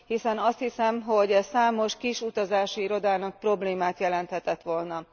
Hiszen azt hiszem, hogy ez számos kis utazási irodának problémát jelenthetett volna.